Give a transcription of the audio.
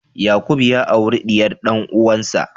Yakubu ya auri diyar dan'uwansa.